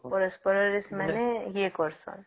ପରସ୍ପର ରେ ସେମାନେ ୟେ କରିସନ